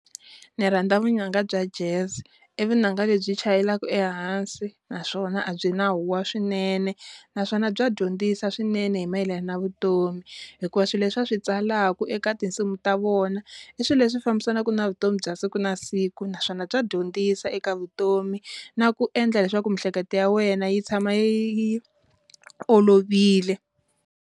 Ni rhandza vunanga bya Jazz i vunanga lebyi chayelaka ehansi naswona a byi na huwa swinene naswona bya dyondzisa swinene hi mayelana na vutomi hikuva swilo leswi va swi tsalaku i eka tinsimu ta vona i swilo leswi fambisanaka na vutomi bya siku na siku, naswona bya dyondzisa eka vutomi na ku endla leswaku miehleketo ya wena yi tshama yi olovile.